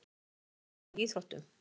Hvað þarf til að ná árangri í íþróttum?